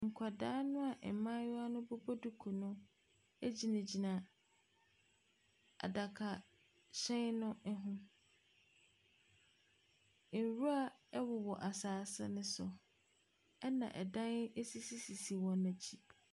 Nkwadaa noa mmaayewa no bobɔ duku no egyinagyina adakahyɛn no ho. Nwura ɛwowɔ asaase no so ɛna adan esisisisi wɔn akyi.